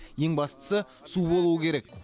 ең бастысы су болуы керек